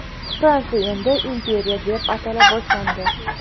Fransiya endi imperiya deb atala boshlandi.